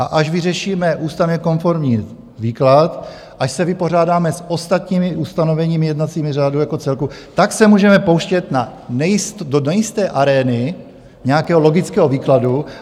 A až vyřešíme ústavně konformní výklad, až se vypořádáme s ostatními ustanoveními jednacího řádu jako celku, tak se můžeme pouštět do nejisté arény nějakého logického výkladu.